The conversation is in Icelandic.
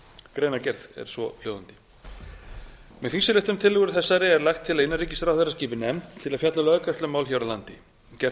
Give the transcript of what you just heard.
greina gerð er svohljóðandi með þingsályktunartillögu þessari er lagt til að innanríkisráðherra skipi nefnd til að fjalla um löggæslumál hér á landi gert er